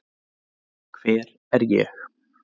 hver er ég